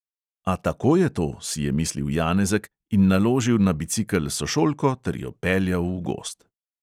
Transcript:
"A tako je to," si je mislil janezek in naložil na bicikel sošolko ter jo peljal v gozd.